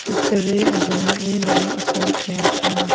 siater a ajong lah ley lai apo kya chang a.